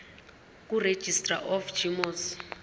kuregistrar of gmos